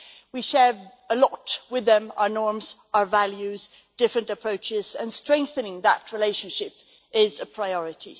We share a lot with them our norms, our values, different approaches and strengthening that relationship is a priority.